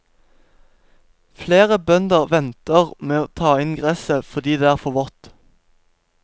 Flere bønder venter med å ta inn gresset fordi det er for vått.